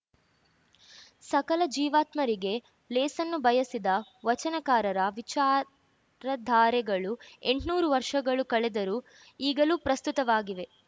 ಸಕಲ ಜೀವಾತ್ಮರಿಗೆ ಲೇಸನ್ನು ಬಯಸಿದ ವಚನಕಾರರ ವಿಚಾರಧಾರೆಗಳು ಎಂಟ್ನೂರು ವರ್ಷಗಳು ಕಳೆದರೂ ಈಗಲೂ ಪ್ರಸ್ತುತವಾಗಿವೆ